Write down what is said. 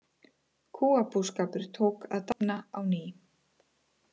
Kúabúskapur tók að dafna á ný.